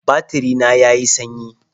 Batiri na ya yi sanyi